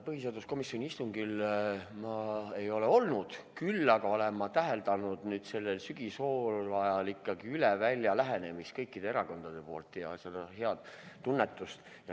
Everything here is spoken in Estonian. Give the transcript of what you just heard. Põhiseaduskomisjoni istungil ma ei olnud, küll aga olen ma täheldanud sellel sügishooajal ikkagi üle välja lähenemist kõikide erakondade puhul ja seda head tunnetust.